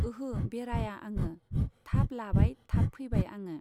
ओहो बेराया आङो, थाब लाबाय थाब फैबाय आङो।